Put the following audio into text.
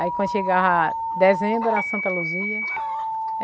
Aí quando chegava dezembro, era Santa Luzia.